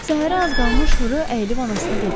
Səhərə az qalmış rö əylib anasına dedi: